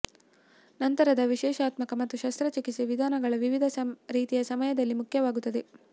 ನಂತರದ ವಿಶ್ಲೇಷಣಾತ್ಮಕ ಮತ್ತು ಶಸ್ತ್ರಚಿಕಿತ್ಸೆ ವಿಧಾನಗಳ ವಿವಿಧ ರೀತಿಯ ಸಮಯದಲ್ಲಿ ಮುಖ್ಯವಾಗುತ್ತದೆ